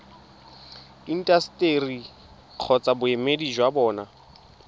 intaseteri kgotsa boemedi jwa bona